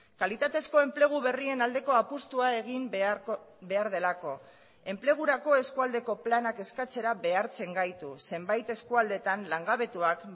kalitatezko enplegu berrien aldeko apustua egin behar delako enplegurako eskualdeko planak eskatzera behartzen gaitu zenbait eskualdeetan langabetuak